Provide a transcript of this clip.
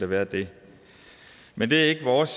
være det men det er ikke vores